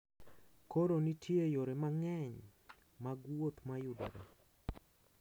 Koro, nitie yore mang’eny mag wuoth ​​ma yudore